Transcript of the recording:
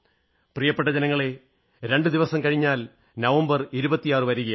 പ്രിയപ്പെട്ട ജനങ്ങളേ രണ്ടു ദിവസം കഴിഞ്ഞാൽ നവംബർ 26 ആണ്